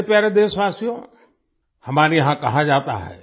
मेरे प्यारे देशवासियो हमारे यहां कहा जाता है